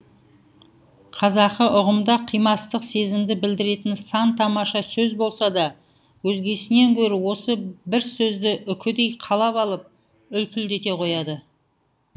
қазақы ұғымда қимастық сезімді білдіретін сан тамаша сөз болса да өзгесінен гөрі осы бір сөзді үкідей қалап алып үлпілдете қояды